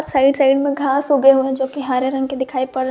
Side side घास उगे हुए है जो कि हरे रंग के दिखाई पड़े है।